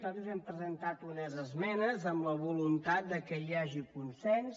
nosaltres hem presentat unes esmenes amb la voluntat que hi hagi consens